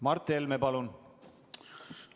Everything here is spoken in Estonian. Mart Helme, palun!